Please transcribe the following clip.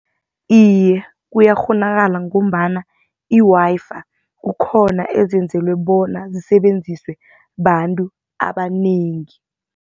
Iye, kuyakghonakala ngombana i-Wi-Fi kukhona ezenzelwe bona zisebenziswe bantu abanengi.